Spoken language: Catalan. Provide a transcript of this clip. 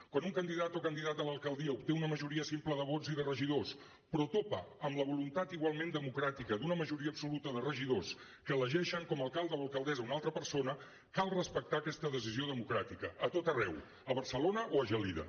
quan un candidat o candidata a l’alcaldia obté una majoria simple de vots i de regidors però topa amb la voluntat igualment democràtica d’una majoria absoluta de regidors que elegeixen com a alcalde o alcaldessa una altra persona cal respectar aquesta decisió democràtica a tot arreu a barcelona o a gelida